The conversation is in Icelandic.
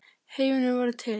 Heimurinn varð til.